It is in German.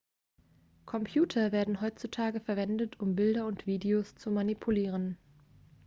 computer werden heutzutage verwendet um bilder und videos zu manipulieren